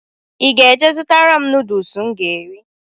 I ga-jee zụtara m nudus m ga eri?